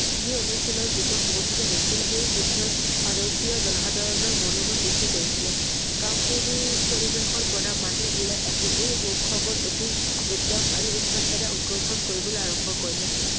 যি অনুশীলৰ যুদ্ধ সংঘটিত হৈছিল সেই যুদ্ধই ভাৰতীয় জনসাধাৰণৰ মনোবল বৃদ্ধি কৰিছিল । কা~পুৰুষ পৰিবেশৰ পৰা মানুহ ওলাই আহি এই উৎসৱৰ অতি উত্তম আৰু উত্সাহেৰে অংশ গ্ৰহণ কৰিবলৈ আৰম্ভ কৰিলে